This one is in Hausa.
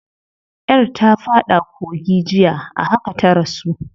Yar ta fada kogi jiya, a haka ta rasu.